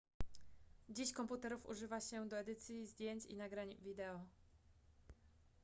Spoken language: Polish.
dziś komputerów używa się do edycji zdjęć i nagrań wideo